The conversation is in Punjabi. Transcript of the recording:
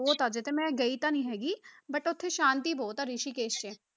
ਬਹੁਤ ਆ ਤੇ ਮੈਂ ਗਈ ਤਾਂ ਨੀ ਹੈਗੀ but ਉੱਥੇ ਸ਼ਾਂਤੀ ਬਹੁਤ ਆ ਰਿਸ਼ੀਕੇਸ਼ 'ਚ